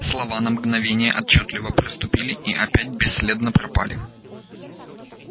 слова на мгновение отчётливо проступили и опять бесследно пропали